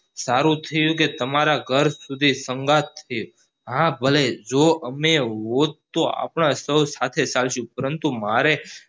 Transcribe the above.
સારું થયું કે તમારા ઘર સુધી સંગાથ છે હા ભલે જો અમે હોટ તો અપને સો સાથે ચાલશું પરંતુ મારે